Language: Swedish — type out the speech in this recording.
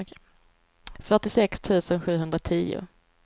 fyrtiosex tusen sjuhundratio